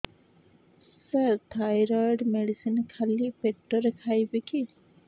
ସାର thyroid medicine ଖାଲି ପେଟରେ ଖାଇବି କି